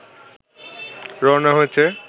রওনা হয়েছে